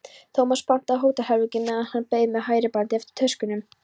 Tómas pantaði hótelherbergi meðan hann beið við færibandið eftir töskunum.